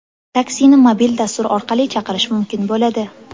Taksini mobil dastur orqali chaqirish mumkin bo‘ladi.